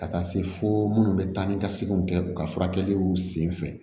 Ka taa se fo minnu bɛ taa ni ka seginw kɛ u ka furakɛliw senfɛ